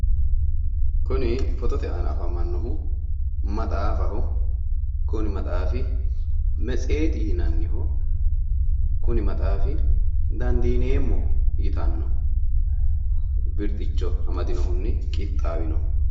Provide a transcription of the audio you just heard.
Kuni foottote aana afamanohu maxaaffaho woyi metsetete kuni dandiineemmo yaanno birxichinni qixxawino maxaaffati